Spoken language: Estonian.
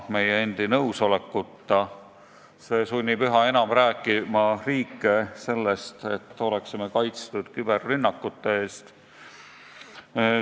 See sunnib riike üha enam rääkima sellest, et peame olema kaitstud küberrünnakute eest.